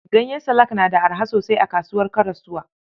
Ganyen salak na da araha sosai a kasuwar Karasuwa.